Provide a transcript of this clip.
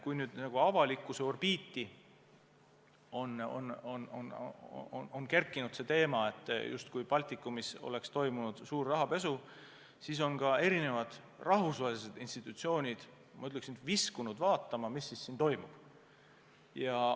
Kuna avalikkuse orbiiti on kerkinud teema, justkui Baltikumis oleks toimunud suur rahapesu, siis on ka erinevad rahvusvahelised institutsioonid, ma ütleks, viskunud vaatama, mis siin siis toimub.